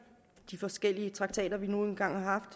de forskellige traktater vi nu engang har